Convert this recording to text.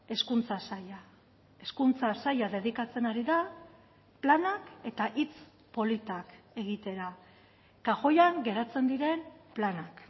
hezkuntza saila hezkuntza saila dedikatzen ari da planak eta hitz politak egitera kajoian geratzen diren planak